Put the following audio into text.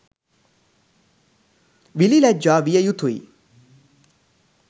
විළි ලැජ්ජා විය යුතුයි.